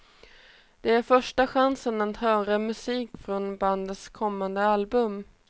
Det är första chansen att höra musik från bandets kommande album.